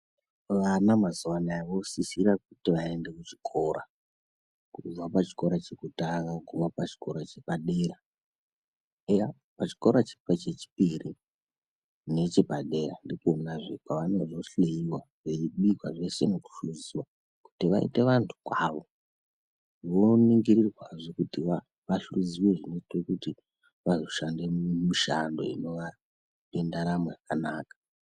Vana mazuva anaya vosisira kuti vaende kuchikora. Kubva pachikora chekutanga kuguma pachikora chepadera. Eya pachikora chechipiri nechepadera ndikonazve kwavanozohleyiwa, veibikwa zvese nekuhluziwa kuti vaite vantu kwavo. Voningirirwazve kuti vahluziwe zvinoite kuti vazoshande mishando inova nendaramo yakanaka.